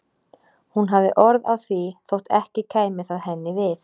Hún hafði orð á því þótt ekki kæmi það henni við.